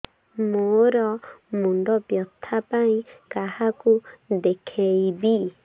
ମୋର ମୁଣ୍ଡ ବ୍ୟଥା ପାଇଁ କାହାକୁ ଦେଖେଇବି